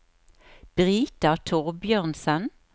Brita Thorbjørnsen